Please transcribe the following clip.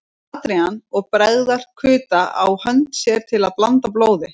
Adrian og bregða kuta á hönd sér til að blanda blóði.